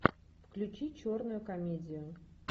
включи черную комедию